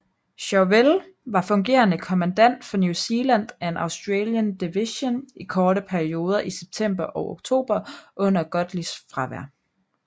Chauvel var fungerende kommandant for New Zealand and Australian Division i korte perioder i september og oktober under Godleys fravær